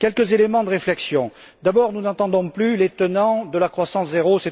Quelques éléments de réflexion d'abord, nous n'entendons plus les tenants de la croissance zéro.